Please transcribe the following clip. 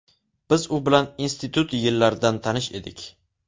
Biz u bilan institut yillaridan tanish edik.